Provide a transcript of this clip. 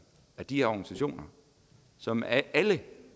at de her organisationer som alle